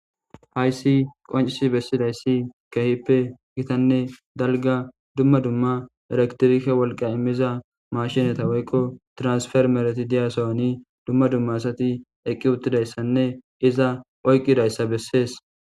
hayssi qoncisi bessidayssi kehippe gitanne dalga dumma dumma eraktirike wolqa immiza mashinata woykko transfermerati diyasoani dumma dumma asati eqqi uttidayssanne iza oyqqidayssa bessees